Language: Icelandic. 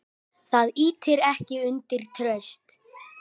Það ýtir ekki undir traust.